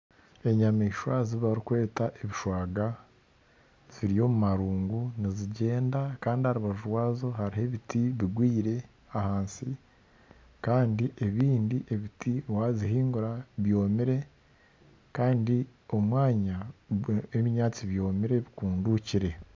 Enyamaishwa ezi barikweta ebishwaga ziri omu maruugu nizigyenda kandi aha rubaju rwaazo hariho ebiti bigwire ahansi kandi ebindi ebiti wazihingura byomire kandi omwanya gurimu ebinyaatsi byomire bikundukire.